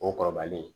O kɔrɔbalen